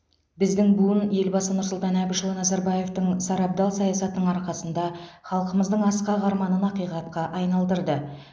біздің буын елбасы нұрсұлтан әбішұлы назарбаевтың сарабдал саясатының арқасында халқымыздың асқақ арманын ақиқатқа айналдырды